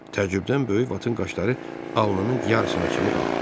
Təəccübdən böyük Vatın qaşları alnının yarısına kimi qalxdı.